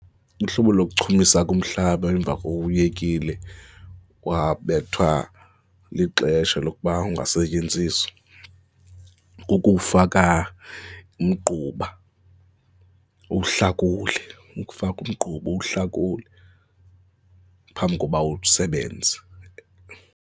Uhlobo lokuchumiso kumhlaba emva koba uwuyekile wabethwa lixesha lokuba ungasetyenziswa, kukufaka umgquba, uwuhlakule, uwufake umgquba, uwuhlakule phambi koba usebenze.